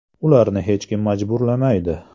Ularni hech kim majburlamaydi.